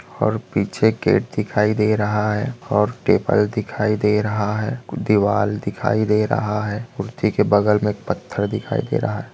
और पीछे गेट दिखाई दे रहा है और टेबल दिखाई दे रहा है दिवार दिखाई दे रहा है कुड़ती के बगल में एक पत्थर दिखाई दे रहा है।